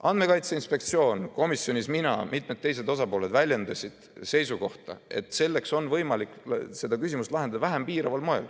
Andmekaitse Inspektsioon komisjonis väljendas seisukohta, mina ja mitmed teised osapooled samuti, et seda küsimust on võimalik lahendada vähem piiraval moel.